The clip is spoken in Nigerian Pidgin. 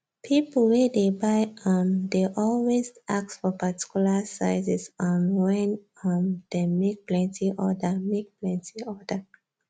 people wey dey buy um dey always ask for particular sizes um wen um dem make plenty order make plenty order